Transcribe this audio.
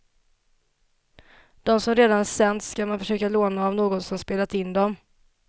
De som redan sänts ska man försöka låna av någon som spelat in dem.